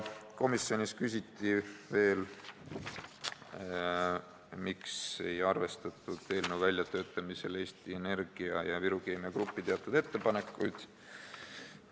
Komisjonis küsiti veel seda, miks ei arvestatud eelnõu väljatöötamisel Eesti Energia ja Viru Keemia Grupi teatud ettepanekuid.